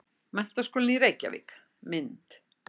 Menntaskólinn í Reykjavík- mynd.